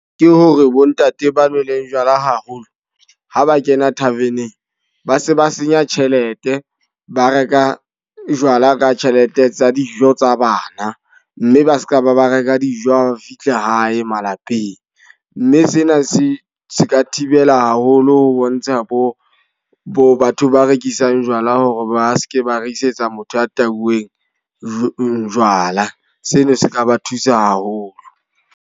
Ke hore bo ntate ba nweleng jwala haholo, ha ba kena tarven-eng. Ba se ba senya tjhelete, ba reka jwala ka tjhelete tsa dijo tsa bana. Mme ba seka ba ba reka dijo ha fihla hae malapeng. Mme sena se se ka thibela haholo ho bontsha bo bo batho ba rekisang jwala hore ba seke ba rekisetsa motho ya tauweng jwala. Seno se ka ba thusa haholo.